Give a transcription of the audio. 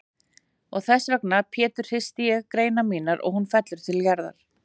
Og þessvegna Pétur hristi ég greinar mínar og hún fellur til jarðar.